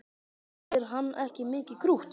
Finnst þér hann ekki mikið krútt?